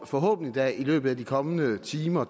forhåbentlig da i løbet af de kommende timer